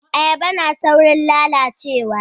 Ayaba na saurin lalacewa